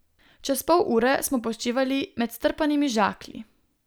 Čez pol ure smo počivali med strpanimi žaklji.